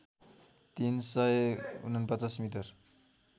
तीन सय ४९ मिटर